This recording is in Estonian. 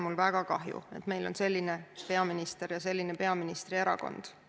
Mul on väga kahju, et meil on selline peaminister ja selline peaministri erakond.